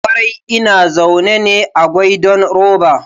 Ƙwarai ina zaune ne a goidan roba